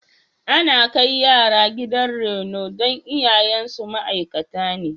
Ana kai yara gidan reno don iyayensu ma'aikata ne.